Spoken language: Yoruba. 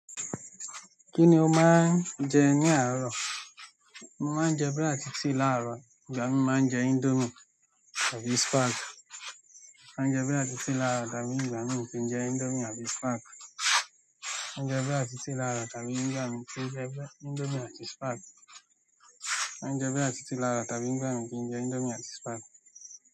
Kí ni o máa ń jẹ ní àárọ̀? Mo máa ń jẹ búrẹ́dì àti tea láàrọ̀, igbami mo máa ń jẹ indomie àbí spag mo máa ń jẹ búrẹ́dì àti tea igbami kí n jẹ indomie àbí spag máa jẹ bí àti sí làárọ̀, tàbí ìgbami kì n jẹ índómìe àti spag.